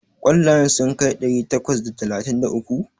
Ƙwallayen sun kai ɗari takwas da talatin da uku?